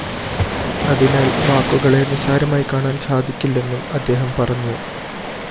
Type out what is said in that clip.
അതിനാല്‍ വാക്കുകളെ നിസാരമായി കാണാന്‍ സാധിക്കില്ലെന്നും അദ്ദേഹം പറഞ്ഞു